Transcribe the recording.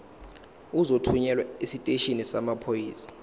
uzothunyelwa esiteshini samaphoyisa